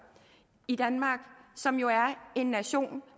i danmark som jo er en nation